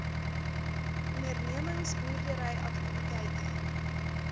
ondernemings boerdery aktiwiteite